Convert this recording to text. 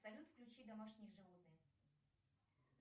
салют включи домашние животные